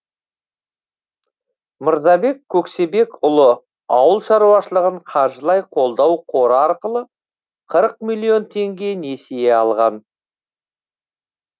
мырзабек көксебекұлы ауыл шаруашылығын қаржылай қолдау қоры арқылы қырық миллион теңге несие алған